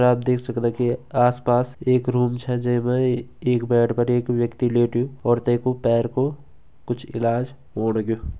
आप देख सकदां कि आसपास एक रूम छ जै मा एक बेड पर एक व्यक्ति लेट्यूं और तैं कु पैर कु कुछ इलाज़ होण लग्युं।